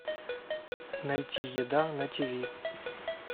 найти еда на тиви